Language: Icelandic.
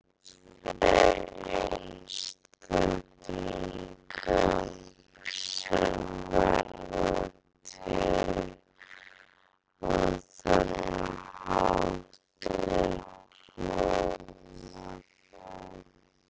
Annað nafn yfir einstaklinga sem verða til á þennan hátt er klónar.